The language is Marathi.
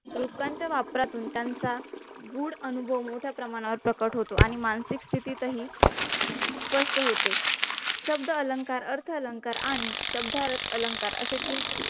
रूपकांच्या वापरातून त्यांच्या मूढ अनुभव मोठ्या प्रमाणावर प्रकट हॊतॊ आणि मानसिक स्थिती हि स्पष्ट होते शब्द अलंकार अर्थ अलंकार आणि शब्दार्थ अलंकारअसे तीन